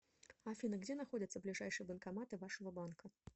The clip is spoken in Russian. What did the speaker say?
афина где находятся ближайшие банкоматы вашего банка